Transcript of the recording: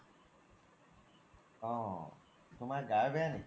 অ তুমাৰ গা বেয়া নেকি ?